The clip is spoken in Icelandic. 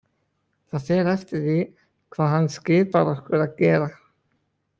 Það fer eftir því hvað hann skipar okkur að gera.